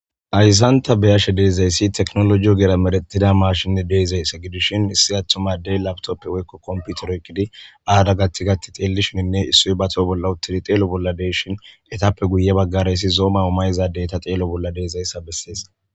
ayzanta beyashe deezayssi teknolojiyo gera meretida maashinne deezayssa gidishin issi attumadey laptoppe woykko komputeroykidi aada gatti gatti xeelishininne issu bato bolla uttidi xeelo bolla deyshin etappe guye baggarayssi zooma omayizadey ta xeelo bolla deezayssa bessees